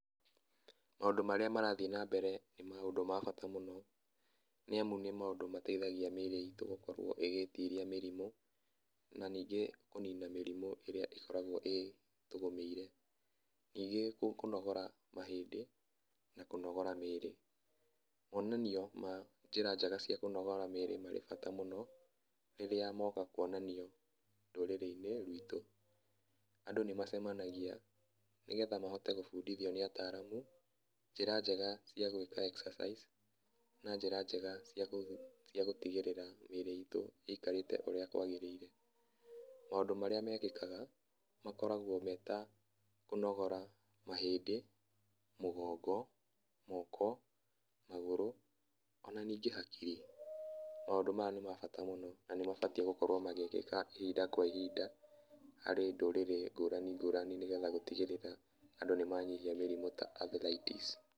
Maũndũ marĩa marathiĩ na mbere nĩ maũndũ ma bata mũno nĩ amu nĩ maũndũ mateithagia mĩirĩ itũ gũkorwo ĩgĩtiria mĩrimũ na ningĩ kũnina mĩrimũ ĩrĩa ĩkoragwo ĩtũgũmĩire, ningĩ kũnogora mahĩndĩ na kũnogora mwĩrĩ mũnanio ma njĩra cia kũnogora mwĩrĩ me bata mũno rĩrĩa moka kuonanio rũrĩrĩinĩ rwitũ, andũ nĩ macemanagia nĩgetha mahote gũbundithio nĩ ataramu njĩra njega cia gwĩka exercise na njĩra njega cia gũtigĩrĩra mĩirĩ itũ ĩikarĩte ũrĩa kwagĩrĩire. Maũndũ marĩa mekĩkaga makoragwo meta kũnogora mahĩndĩ, mũgũngo, moko, magũrũ ona ningĩ hakiri maũndũ maya nĩ mabata mũno na nĩ mabatie gũkorwo magĩka ihinda kwa ihinda harĩ ndũrĩrĩ ngũrani ngũrani nĩgetha gũtigĩrĩra andũ nĩ manyihia mĩrimũ ta athrities.